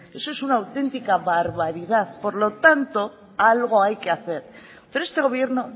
eso es una auténtica barbaridad por lo tanto algo hay que hacer pero este gobierno